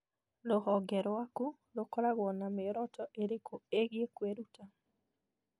Rũhonge rwaku rũkoragwo na mĩoroto ĩrĩkũ ĩgiĩ kwĩruta?